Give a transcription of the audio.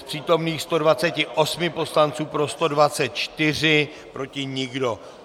Z přítomných 128 poslanců, pro 124, proti nikdo.